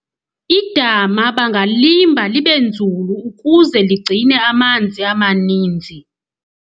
idama bangalimba libe nzulu ukuze ligcine amanzi amaninzi